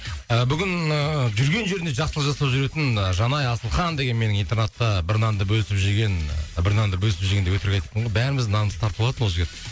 і бүгін ііі жүрген жерінде жақсылық жасап жүретін і жанай асылхан деген менің интернатта бір нанды бөлісіп жеген бір нанды бөлісіп жеген деп өтірік айтыппын ғой бәріміздің нанымызды тартып алатын ол жігіт